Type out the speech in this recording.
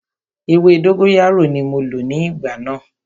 Ewé dógóyárò ní mo lò ní ìgbà náà.